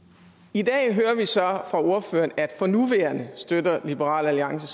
i dag hører vi så fra ordføreren at for nuværende støtter liberal alliance